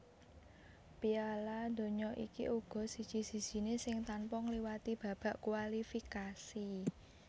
Piala Donya iki uga siji sijiné sing tanpa ngliwati babak kualifikasi